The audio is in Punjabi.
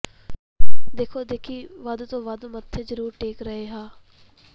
ਦੇਖੋ ਦੇਖੀ ਵੱਧ ਤੋਂ ਵੱਧ ਮੱਥੇ ਜ਼ਰੂਰ ਟੇਕ ਰਹੇ ਹਾਂ